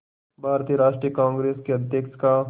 भारतीय राष्ट्रीय कांग्रेस के अध्यक्ष का